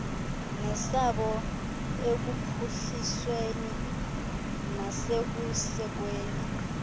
nesabo ekuphuhlisweni nasekusekweni